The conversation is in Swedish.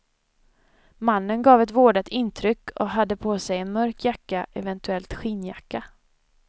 Mannen gav ett vårdat intryck och hade på sig en mörk jacka, eventuellt skinnjacka.